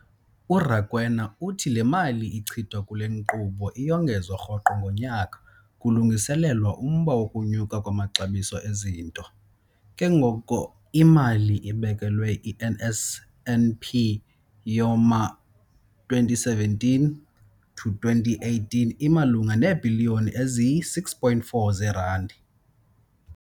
URakwena uthi le mali ichithwa kule nkqubo iyongezwa rhoqo ngonyaka kulungiselelwa umba wokunyuka kwamaxabiso ezinto, ke ngoko imali ebekelwe i-NSNP yowama-2017 to 18 imalunga neebhiliyoni eziyi-6.4 zeerandi.